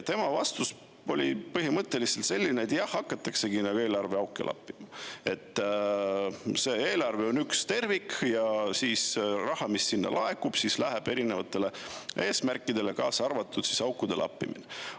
Tema vastus oli põhimõtteliselt selline, et, jah, hakataksegi eelarveauke lappima, et eelarve on üks tervik ja raha, mis sinna laekub, läheb erinevate eesmärkide, kaasa arvatud aukude lappimise jaoks.